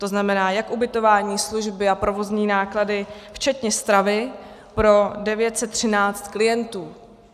To znamená jak ubytování, služby a provozní náklady, včetně stravy pro 913 klientů.